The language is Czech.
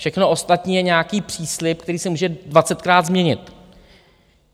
Všechno ostatní je nějaký příslib, který se může dvacetkrát změnit.